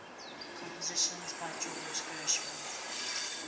compositions by george gershwin